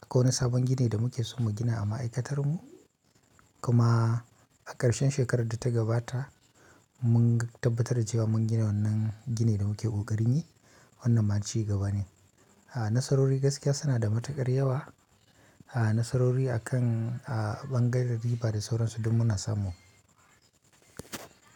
Akwai wani sabon gini da muke so mu gina a ma'aikatar mu kuma a ƙarshen shekarar da ta gabata mun tabbatar da cewa mun gina wannan gini da muke ƙoƙarin yi, wannan ma cigaba ne. Nasarori gaskiya suna da matuƙar yawa, nasarori a kan ɓangaren riba da sauransu duk muna samu.